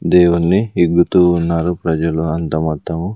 దేవున్ని ఇగ్గుతూ ఉన్నారు ప్రజలు అంత మొత్తము.